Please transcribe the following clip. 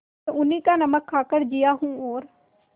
मैं उन्हीं का नमक खाकर जिया हूँ और